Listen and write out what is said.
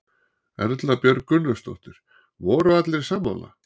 Erla Björg Gunnarsdóttir: Voru allir sammála?